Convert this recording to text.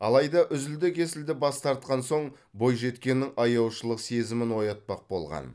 алайда үзілді кесілді бас тартқан соң бойжеткеннің аяушылық сезімін оятпақ болған